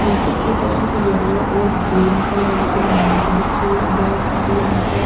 नीचे कि तरफ येल्लो और ग्रीन कलर की मेट बिछी हुई है बहुत सारी यहाँ पर --